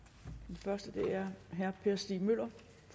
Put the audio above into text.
første er herre per stig møller